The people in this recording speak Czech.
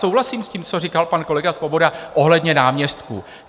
Souhlasím s tím, co říkal pan kolega Svoboda ohledně náměstků.